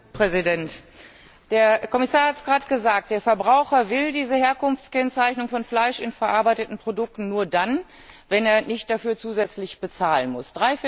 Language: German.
Herr Präsident! Der Kommissar hat es gerade gesagt Der Verbraucher will diese Herkunftskennzeichnung von Fleisch in verarbeiteten Produkten nur dann, wenn er dafür nicht zusätzlich bezahlen muss.